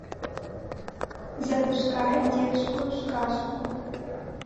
запускай детскую сказку